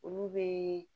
Olu bɛ